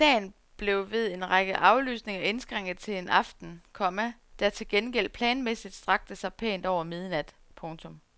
Dagen blev ved en række aflysninger indskrænket til en aften, komma der til gengæld planmæssigt strakte sig pænt over midnat. punktum